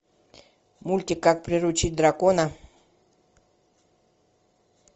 мультик как приручить дракона